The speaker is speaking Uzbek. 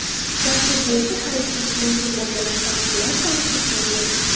Dastur bo‘yicha xarid qilish mumkin bo‘lgan avtomobillar soni cheklangan.